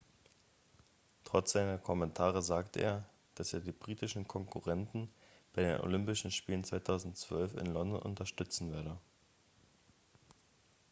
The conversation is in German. trotz seiner kommentare sagte er dass er die britischen konkurrenten bei den olympischen spielen 2012 in london unterstützen werde